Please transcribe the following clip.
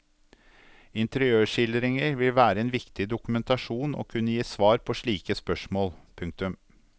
Interiørskildringer vil være en viktig dokumentasjon og kunne gi svar på slike spørsmål. punktum